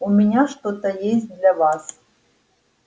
у меня что-то есть для вас